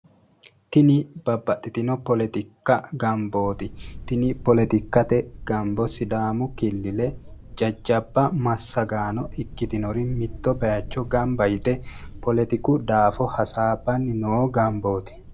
tini babbaxxitino poletikkate gambooti tini poletikkate gambo sidaamu killile jjajjabba massagaano ikitiori mitto bayiicho yite poletiku daafo hasaabbanni noo gambooti